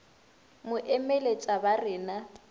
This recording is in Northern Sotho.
mo emeletša ba re na